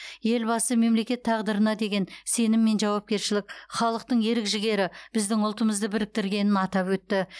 елбасы мемлекет тағдырына деген сенім мен жауапкершілік халықтың ерік жігері біздің ұлтымызды біріктіргенін атап өтті